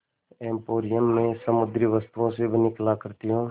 emporium में समुद्री वस्तुओं से बनी कलाकृतियाँ